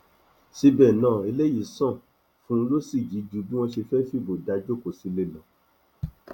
síbẹ náà eléyìí ṣàn fún rọsíjì ju bí wọn ṣe fẹẹ fìbò dá a jókòó sílé lọ